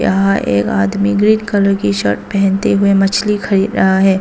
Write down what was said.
यहां एक आदमी ग्रीन कलर की शर्ट पहनते हुए मछली खरीद रहा है।